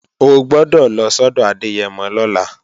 O gbọ́dọ̀ lọ sọ́dọ̀ Adẹ́yẹmọ lọ́la!